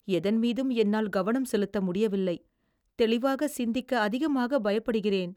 எதன் மீதும் என்னால் கவனம் செலுத்த முடியவில்லை. தெளிவாகச் சிந்திக்க அதிகமாகப் பயப்படுகிறேன்.